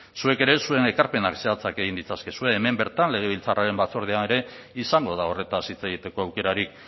zuek ere zuen ekarpena zehatzak egin ditzakezue hemen bertan legebiltzarraren batzordean ere izango da horretaz hitz egiteko aukerarik